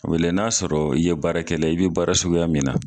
O bi lahɛ n'a y'a sɔrɔ i ye baara kɛlɛla ye, i be baara suguya min na